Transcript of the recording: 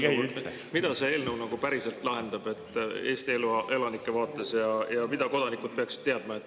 Aga mida see eelnõu nagu päriselt lahendab Eesti elanike vaates ja mida kodanikud peaksid teadma?